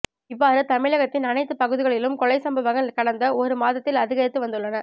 இவ்வாறு தமிழகத்தின் அனைத்து பகுதிகளிலும் கொலை சம்பவங்கள் கடந்த ஒரு மாதத்தில் அதிகரித்து வந்துள்ளன